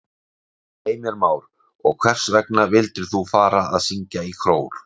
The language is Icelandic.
Heimir Már: Og hvers vegna vildir þú fara að syngja í kór?